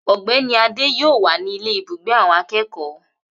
Ogbéni Adé yóò wà ní ile ibùgbé awon akekoo